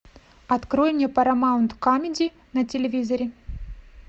открой мне парамаунт камеди на телевизоре